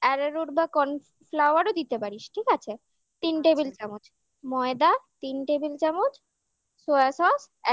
ararot বা corn flour ও দিতে পারিস ঠিক আছে তিন table চামচ ময়দা তিন table চামচ soya sauce